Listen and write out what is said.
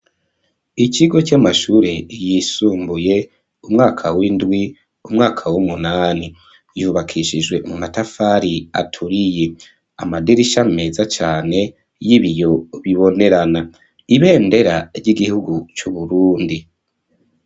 Ikigo c'amashure yisumbuye umwaka w'indwi umwaka w'umunani yubakishijwe umatafari aturiye amadirisha meza cane y'ibiyo bibonerana ibendera ry'igihugu c'uburundi.